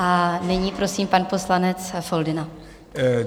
A nyní prosím - pan poslanec Foldyna.